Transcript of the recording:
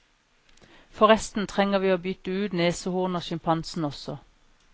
Forresten trenger vi å bytte ut nesehornet og sjimpansen også.